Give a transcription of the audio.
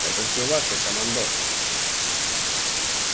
это все ваше командор